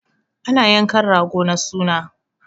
Ana yankan rago na suna